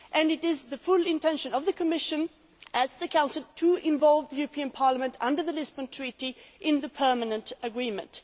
It is the full intention of the Commission and the Council to involve the European Parliament under the Lisbon Treaty in the permanent agreement.